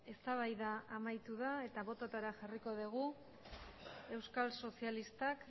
eztabaida amaitu da eta botoetara jarriko dugu euskal sozialistak